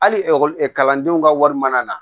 Hali kalandenw ka wari mana na